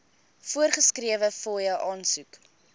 voorgeskrewe fooie aansoek